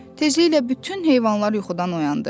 Tezliklə bütün heyvanlar yuxudan oyandı.